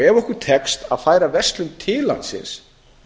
ef okkur tekst að færa verslun til landsins